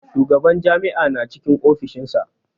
Shugaban jami'a na cikin ofishinsa.